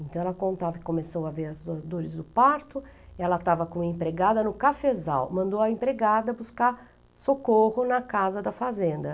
Então ela contava que começou a ver as dores do parto, ela estava com uma empregada no cafezal, mandou a empregada buscar socorro na casa da fazenda.